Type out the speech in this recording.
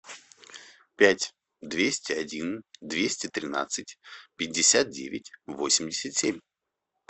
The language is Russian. пять двести один двести тринадцать пятьдесят девять восемьдесят семь